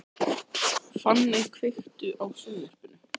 Fanney, kveiktu á sjónvarpinu.